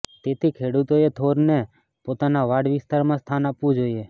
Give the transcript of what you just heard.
તેથી ખેડુતોએ થોરને પોતાના વાડ વિસ્તારમાં સ્થાન આપવુ જોઈએ